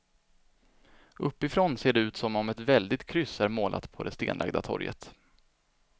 Uppifrån ser det ut som om ett väldigt kryss är målat på det stenlagda torget.